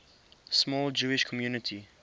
small jewish community